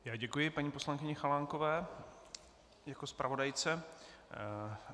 Já děkuji paní poslankyni Chalánkové jako zpravodajce.